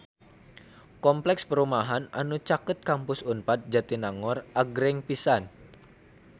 Kompleks perumahan anu caket Kampus Unpad Jatinangor agreng pisan